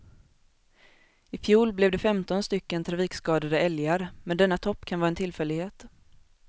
I fjol blev det femton stycken trafikskadade älgar, men denna topp kan vara en tillfällighet.